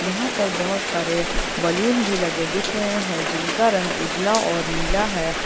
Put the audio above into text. यहां पर बहुत सारे बैलून भी लगे दिख रहे हैं जिनका रंग उजला और नीला है।